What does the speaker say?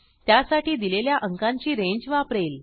त्यासाठी दिलेल्या अंकांची रेंज वापरेल